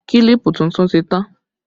Kílípù tuntun ti tán